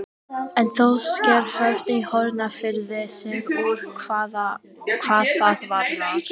En þó sker Höfn í Hornafirði sig úr hvað það varðar.